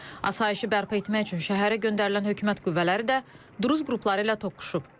Asayişi bərpa etmək üçün şəhərə göndərilən hökumət qüvvələri də duruz qrupları ilə toqquşub.